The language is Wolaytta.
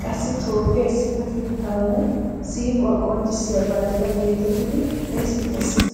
qassi Toophphiya issippetettaanne siiquwaa qonccissiya banddiraa geetettidi xeessettees